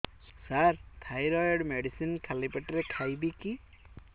ସାର thyroid medicine ଖାଲି ପେଟରେ ଖାଇବି କି